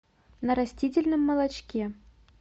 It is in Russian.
на растительном молочке